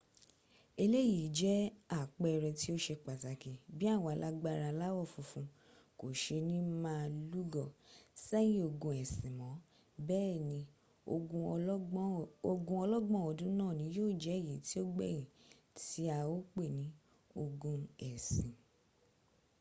eleyi jẹ apẹẹrẹ ti o ṣe pataki bi awọn alagbara alawọ funfun ko ṣe ni ma lugọ sẹyin ogun ẹsin mọ bẹẹni ogun ọlọgbọn ọdun naa ni yio jẹ eyi ti o gbẹyin ti a o pẹ ni ogun ẹsin